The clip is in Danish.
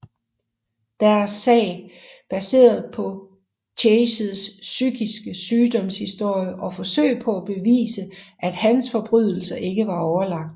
Deres sag baseret på Chases psykiske sygdoms historie og forsøg på at bevise at hans forbrydelser ikke var overlagt